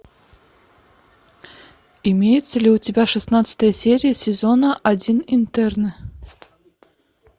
имеется ли у тебя шестнадцатая серия сезона один интерны